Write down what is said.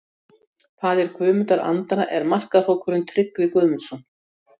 Faðir Guðmundar Andra er markahrókurinn Tryggvi Guðmundsson.